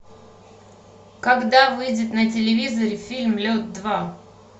когда выйдет на телевизоре фильм лед два